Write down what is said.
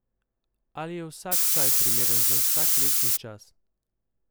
Ali je vsak čaj primeren za vsak letni čas?